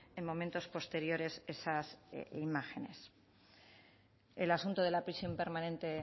en momentos posteriores esas imágenes el asunto de la prisión permanente